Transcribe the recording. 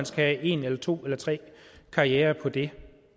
skal have en eller to eller tre karrierer på det